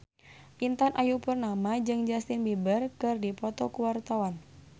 Intan Ayu Purnama jeung Justin Beiber keur dipoto ku wartawan